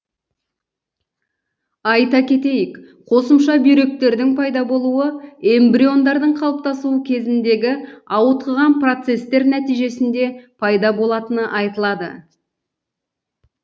айта кетейік қосымша бүйректердің пайда болуы эмбрионның қалыптасуы кезіндегі ауытқыған процестер нәтижесінде пайда болатыны айтылады